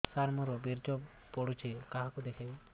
ସାର ମୋର ବୀର୍ଯ୍ୟ ପଢ଼ୁଛି କାହାକୁ ଦେଖେଇବି